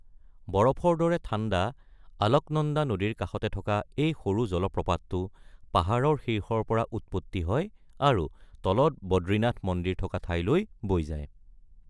বৰফৰ দৰে ঠাণ্ডা আলকনন্দা নদীৰ কাষতে থকা এই সৰু জলপ্ৰপাতটো পাহাৰৰ শীৰ্ষৰ পৰা উৎপত্তি হয় আৰু তলত বদ্ৰীনাথ মন্দিৰ থকা ঠাইলৈ বৈ যায়।